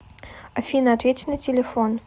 афина ответь на телефон